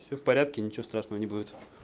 всё в порядке ничего страшного не будет